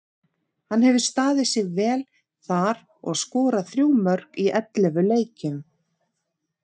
Hann hefur staðið sig vel þar og skorað þrjú mörk í ellefu leikjum.